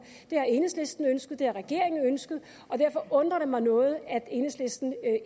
det har enhedslisten ønsket det har regeringen ønsket og derfor undrer det mig noget at enhedslisten